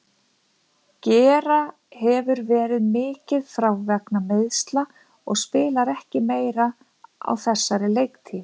Gera hefur verið mikið frá vegna meiðsla og spilar ekki meira á þessari leiktíð.